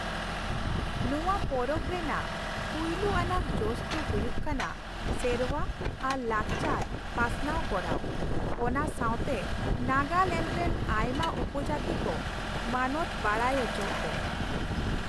ᱱᱚᱶᱟ ᱯᱚᱨᱚᱵᱽ ᱨᱮᱭᱟᱜ ᱯᱩᱭᱞᱩ ᱟᱱᱟᱜ ᱡᱚᱥ ᱫᱚ ᱦᱩᱭᱩᱜ ᱠᱟᱱᱟ ᱥᱮᱨᱶᱟ ᱟᱨ ᱞᱟᱠᱪᱟᱨ ᱯᱟᱥᱱᱟᱣ ᱠᱚᱨᱟᱣ, ᱚᱱᱟ ᱥᱟᱶᱛᱮ ᱱᱟᱜᱟᱞᱮᱱᱰ ᱨᱮᱱ ᱟᱭᱢᱟ ᱩᱯᱚᱡᱟᱹᱛᱤ ᱠᱚ ᱢᱟᱱᱚᱛ ᱵᱟᱰᱟᱭ ᱚᱪᱚ ᱠᱚ ᱾